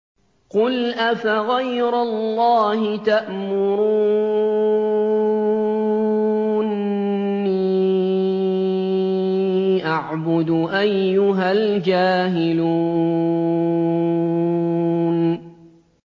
قُلْ أَفَغَيْرَ اللَّهِ تَأْمُرُونِّي أَعْبُدُ أَيُّهَا الْجَاهِلُونَ